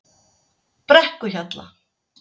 Brekkuhjalla